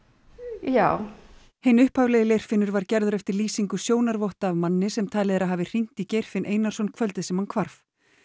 já hinn upphaflegi var gerður eftir lýsingu sjónarvotta af manni sem talið er að hafi hringt í Geirfinn Einarsson kvöldið sem hann hvarf